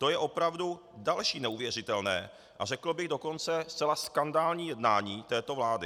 To je opravdu další neuvěřitelné a řekl bych dokonce zcela skandální jednání této vlády.